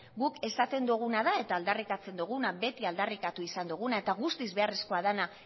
guk esaten duguna da eta aldarrikatzen duguna beti aldarrikatu izan duguna eta guztiz beharrezko dena